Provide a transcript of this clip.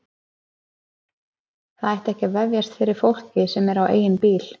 Það ætti ekki að vefjast fyrir fólki sem er á eigin bíl.